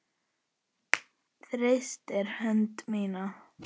Þrýstir hönd mína.